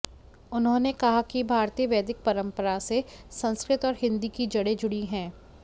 उन्होंने कहा कि भारतीय वैदिक परम्परा से संस्कृत और हिन्दी की जड़े जुड़ी है